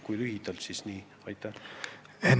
Kui lühidalt vastata, siis on vastus selline.